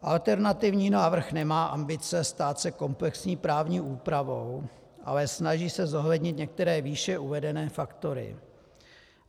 Alternativní návrh nemá ambice stát se komplexní právní úpravou, ale snaží se zohlednit některé výše uvedené faktory.